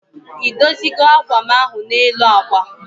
I dozi go ákwà m ahụ nọ n'elu akwa?